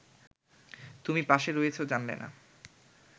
তুমি পাশে রয়েছো জানলে না